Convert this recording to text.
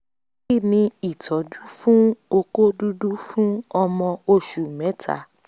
kí ni ìtọ́jú fún oko dudu fun ọmọ oṣù mẹ́ta?